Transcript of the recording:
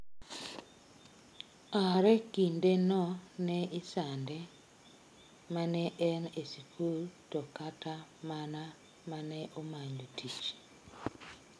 Are kinde no ne isande mane en e sikul to kata mana maneomanyo tich.